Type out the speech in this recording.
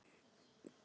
Það bréf er svo